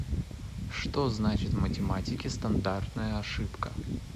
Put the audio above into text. что значит в математике стандартная ошибка